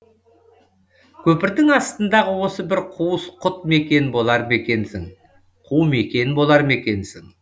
көпірдің астындағы осы бір қуыс құт мекен болар мекенсің қу мекен болар мекенсің